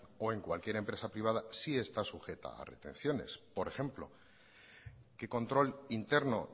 o en cualquier empresa privada sí está sujeta a retenciones por ejemplo qué control interno